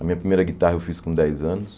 A minha primeira guitarra eu fiz com dez anos.